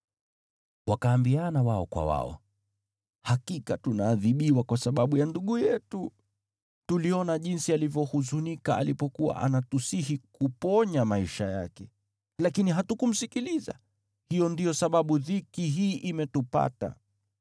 Wakaambiana wao kwa wao, “Hakika tunaadhibiwa kwa sababu ya ndugu yetu. Tuliona jinsi alivyohuzunika alipokuwa anatusihi kuponya maisha yake, lakini hatukumsikiliza, hiyo ndiyo sababu dhiki hii imetupata.”